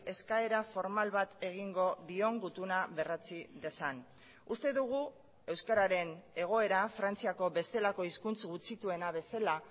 eskaera formal bat egingo dion gutuna berretsi dezan uste dugu euskararen egoera frantziako bestelako hizkuntz gutxituena bezala